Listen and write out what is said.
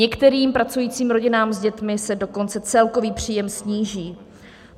Některým pracujícím rodinám s dětmi se dokonce celkový příjem sníží.